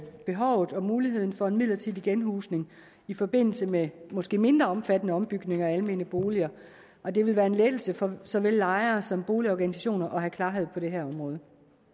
behovet og muligheden for en midlertidig genhusning i forbindelse med måske mindre omfattende ombygninger af almene boliger og det vil være en lettelse for såvel lejere som boligorganisationer at have klarhed på det her område